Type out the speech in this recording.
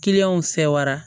fɛ wara